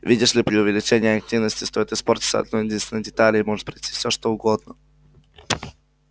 видишь ли при увеличении активности стоит испортиться одной-единственной детали и может произойти все что угодно